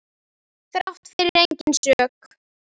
Þrátt fyrir eigin sök.